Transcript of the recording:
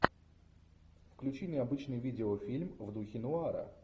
включи необычный видеофильм в духе нуара